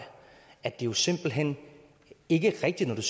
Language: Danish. at det jo simpelt hen ikke er rigtigt